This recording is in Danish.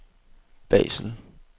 Basel